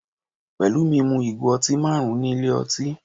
Pelumi mu ìgò ọtí marun ní ilé ọtí.